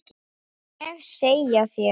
Má ég segja þér.